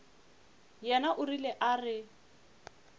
yena o rile a re